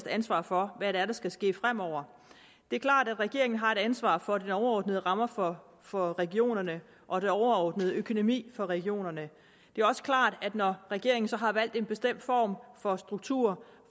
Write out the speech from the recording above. ansvar for hvad det er der skal ske fremover det er klart at regeringen har et ansvar for de overordnede rammer for for regionerne og den overordnede økonomi for regionerne det er også klart at når regeringen har valgt en bestemt form for struktur